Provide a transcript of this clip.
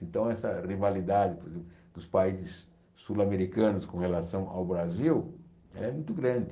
Então, essa rivalidade do dos países sul-americanos com relação ao Brasil é muito grande.